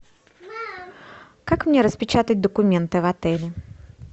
как мне распечатать документы в отеле